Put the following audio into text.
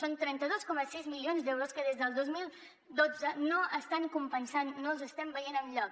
som trenta dos coma sis milions d’euros que des del dos mil dotze no els estan compensant no els estem veient enlloc